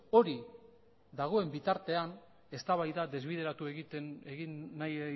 hori dagoen bitartean eztabaida desbideratu egin nahi